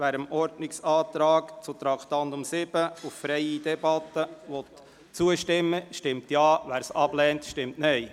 Wer dem Ordnungsantrag auf freie Debatte betreffend Traktandum 7 zustimmt, stimmt Ja, wer diesen ablehnt, stimmt Nein.